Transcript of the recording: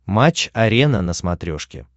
матч арена на смотрешке